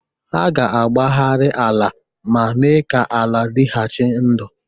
Ha ga-agbagharị ala ma mee ka ala dịghachi ndụ.